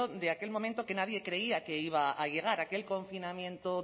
de aquel momento que nadie creía que iba a llegar aquel confinamiento